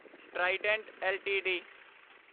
Trident LTD